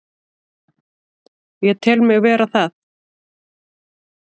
Ég tel mig vera það.